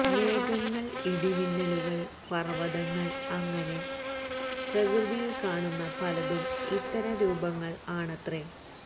മേഘങ്ങൾ ഇടി മിന്നലുകൾ പർവതങ്ങൾ അങ്ങനെ പ്രകൃതിയിൽ കാണുന്ന പലതും ഇത്തരം രൂപങ്ങൾ ആണത്രേ